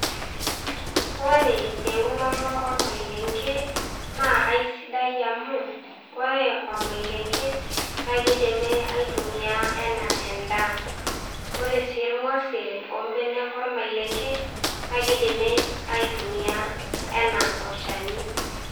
Ore eunoto olmalenge naa aisidai amu, ore olmalenge, naa keidimi aitumia anaa endaa. Ore sii ilng'osil ombenek olmalenge, naa keidimi aitumia anaa olchani.